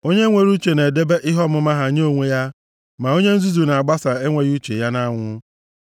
Onye nwere uche na-edebe ihe ọmụma ha nye onwe ha, ma onye nzuzu na-agbasa enweghị uche ya nʼanwụ. + 12:23 \+xt Ilu 13:16\+xt*